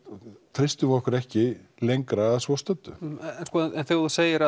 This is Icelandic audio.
treystum við okkur ekki lengra að svo stöddu þegar þú segir